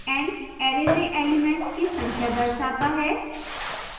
n array में elements की संख्या दर्शाता है